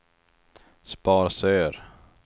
Sparsör